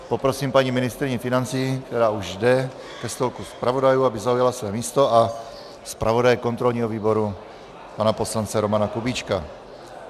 Poprosím paní ministryni financí, která už jde ke stolku zpravodajů, aby zaujala své místo, a zpravodaje kontrolního výboru pana poslance Romana Kubíčka.